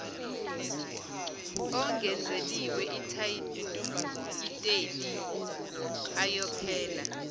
ongenzeliwe itayiteli ayophela